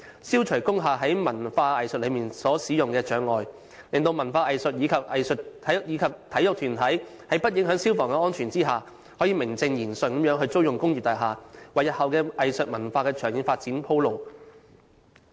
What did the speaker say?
消除工廈在文化藝術使用上的障礙，使文化藝術及體育團體在不影響消防安全的條件下，能夠名正言順地租用工業大廈，並為日後的藝術文化的長遠發展鋪路。